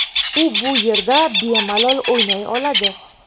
U bu yerda bemalol o‘ynay oladi.